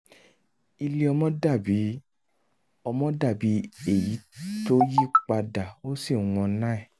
ilé ọmọ dàbí ọmọ dàbí èyí tó yí padà ó sì wọn nine